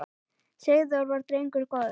Sigþór var drengur góður.